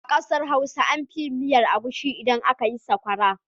A ƙasar Hausa an fi yin miyar agushi idan aka yi sakwara.